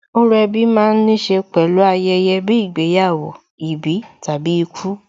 Orò ẹbí ma ń níṣe pẹ̀lú ayẹyẹ bíi ìgbéyàwó, ìbí tàbí ikú.